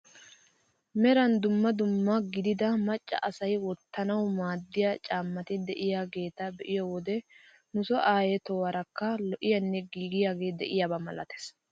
Meran dumma dumma gidida macca asay wottanawu maaddiyaa caammati de'iyaageta beiyoo wode nu soo ayee tohuwaarakka lo"iyaanne gigiyaagee de'iyaaba milates.